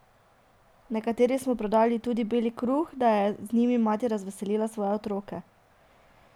Nekateri so prodajali tudi bel kruh, daj e z njim mati razveselila svoje otroke.